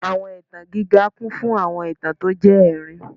Awọn itan giga kun fun awọn itan ti o jẹ ẹrin